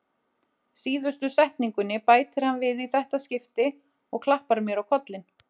Síðustu setningunni bætir hann við í þetta skipti og klappar mér á kollinn.